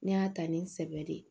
N y'a ta ni n sɛbɛ de ye